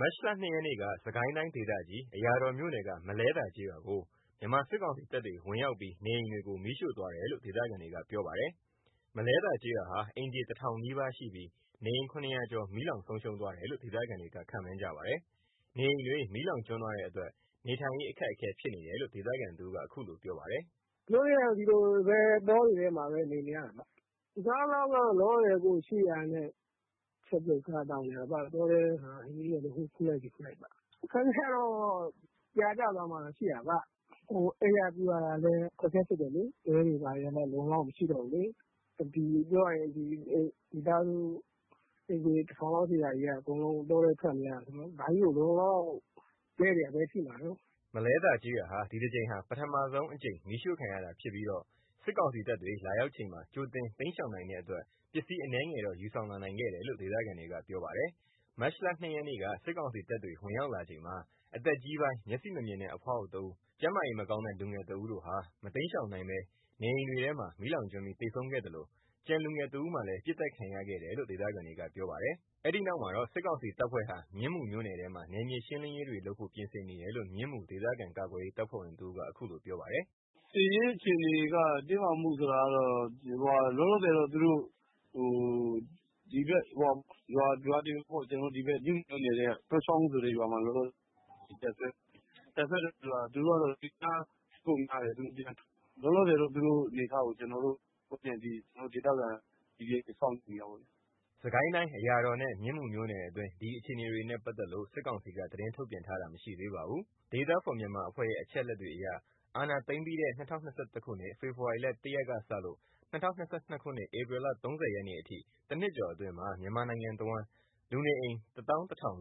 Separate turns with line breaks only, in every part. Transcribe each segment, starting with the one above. မတ်လ ၂ ရက်က စစ်ကိုင်းတိုင်း ဒေသကြီး အရာတော်မြို့နယ်က မလဲသာ ကျေးရွာကို မြန်မာစစ်ကောင်စီတပ်တွေ ဝင်ရောက်ပြီး နေအိမ်တွေကို မီးရှို့သွာတယ်လို့ ဒေသခံတွေက ပြောပါတယ်။ မလဲသာကျေးရွာဟာ အိမ်ခြေ ၁ ထောင်နီးပါးရှိပြီး နေအိမ် ၇၀၀ ကျော် မီးလောင်ဆုံးရှုံးသွားတယ်လို့ ဒေသခံတွေက ခန့်မှန်းပါတယ်။ နေအိမ်တွေ မီးလောင်ကျွမ်းသွားတဲ့အတွက် နေထိုင်ရေးအခက်အခဲဖြစ်နေတယ်လို့ ဒေသခံတဦးက အခုလိုပြောပါတယ်။
“ဒီလိုပဲ တောတွေထဲ နေနေရတာပေါ။ အစားသောက်က လောလောဆယ်ရှိတာနဲ့ ချက်ပြုတ် စားသောက်နေရတာပေါ့။ တောထဲမှာ ဟင်းရွက်လေး ဟိုခူးလိုက်ဒီခူးလိုက်ပေါ့။ အခက်အခဲကတော့ ပြာကျသွားမှတော့ ရှိတာပေါ့။ အိပ်ရပြုရတာလည်း အခက်အခဲဖြစ်တယ်လေ။ တဲတွေဘာတွေလည်း အလုံအလောက်မရှိတော့ဘူးလေ။ ပြောရရင် မိသားာစု အိမ်ခြေ ၁ ထောင်လောက် ရှိတာကနေ အကုန်လုံးတောထဲထွက်နေရတာဆိုတော့ ဘယ်လိုလုပ် လုံလုံလောက်လောက်ရှိမှာတုန်း။
” မလဲသာ ကျေးရွာဟာ ဒီတကြိမ်ဟာ ပထမဆုံး ကြိမ် မီးရှို့ခံရတာဖြစ်ပြီး၊ စစ်ကောင်စီတပ်တွေ လာရောက်ချိန်မှာ ကြိုတင်တိမ်းရှောင်နိုင်တဲ့အတွက် ပစ္စည်းအနည်းငယ်တော့ ယူဆောင်လာနိုင်တယ်လို့ ဒေသခံတွေက ပြောပါတယ်။ မတ်လ ၂ ရက် စစ်ကောင်စီတပ်တွေ ဝင်ရောက်လာချိန်မှာ အသက်ကြီးပိုင်း မျက်စိမမြင်တဲ့ အဖွားအို ၁ ဦး ၊ ကျန်းမာရေး မကောင်းတဲ့ လူငယ်တဦးဟာ မတိမ်းရှောင်နိုင်ဘဲ နေအိမ်တွေထဲ မီးလောင်ကျွမ်းပြီး သေဆုံးခဲ့သလို ကျန် လူငယ် ၁ ဦးမှာလည်း ပစ်သတ်ခံရတယ်လို့ ဒေသခံတွေက ပြောပါတယ်။ အဲဒီနောက် အဲဒီ စစ်ကောင်စီတပ်ဖွဲ့ဟာ မြင်းမူမြို့နယ်ထဲမှာ နယ်မြေရှင်းလင်းရေး တွေလုပ်ဖို့ ပြင်ဆင်နေတယ်လို့ မြင်းမူ ဒေသခံကာကွယ်ရေး တပ်ဖွဲ့ဝင်တဦးက အခုလိုပြောပါတယ်။
“စစ်ရေးအခြေအနေက တင်းမာမှုဆိုတာက လောလောဆယ် သူတို့ ဒီဘက် မြင်းမူမြို့နယ် တောချောင်းဆိုတဲ့ရွာမှာ တပ်စွဲနေတယ်။ သူတို့က အင်အားများတယ်။ လောလောဆယ်တော့ သူတို့အနေအထားကို ကျွန်တော်တို့ ဒေသခံ PDF တ
ွေက စောင့်ကြည့်နေတာပေါ့။” စစ်ကိုင်းတိုင်း အရာတော်နဲ့ မြင်းမူမြို့နယ်တွင်း ဒီ အခြေအနေတွေနဲ့ ပတ်သက်လို့ စစ်ကောင်စီက သတင်းထုတ်ပြန်တာမရှိသေးပါဘူး။ Data For Myanmar အဖွဲ့ရဲ့ အချက်အလက်တွေအရ အာဏာသိမ်းပြီးတဲ့ ၂၀၂၁ ခုနှစ် ဖေဖော်ဝါရီ ၁ ရက်ကစလို့ ၂၀၂၂ ခုနှစ် ဧပြီ ၃၀ အထိ ၁ နှစ်ကျော်အတွင်း မြန်မာတဝှမ်း လူနေအိမ် လုံး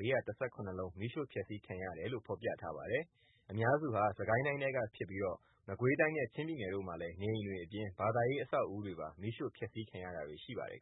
မီးရှို့ ဖျက်ဆီးခံရတယ်လို့ ဖော်ပြထားပါတယ်။ အများစုဟာ စစ်ကိုင်းတိုင်းထဲကဖြစ်ပြီး မကွေးတိုင်းနဲ့ ချင်းပြည်နယ်တို့မှာလည်း နေအိမ်တွေအပြင် ဘာသာရေး အဆက်အဦးတွေပါ မီးရှို့ဖျက်ဆီးခံရတာတွေရှိပါတယ်